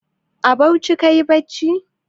A Bauchi kayi bacci?